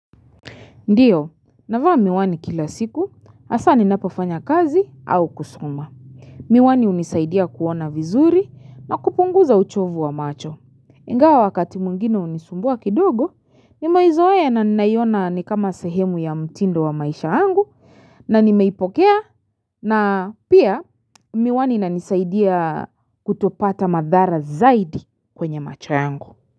Ndiyo, navaa miwani kila siku, hasa ninapafanya kazi au kusuma. Miwani hunisaidia kuona vizuri na kupunguza uchovu wa macho. Ingawa wakati mwingine hunisumbua kidogo, nimeizoea na ninaiona nikama sahemu ya mtindo wa maisha yangu na nimeipokea na pia miwani inanisaidia kutopata madhara zaidi kwenye macho yangu.